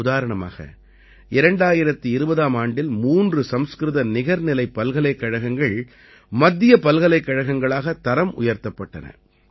உதாரணமாக 2020 ஆம் ஆண்டில் மூன்று சம்ஸ்கிருத நிகர்நிலைப் பல்கலைக்கழகங்கள் மத்திய பல்கலைக்கழகங்களாக தரம் உயர்த்தப்பட்டன